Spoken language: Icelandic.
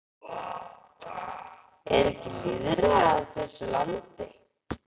Er ekki lýðræði á þessu landi?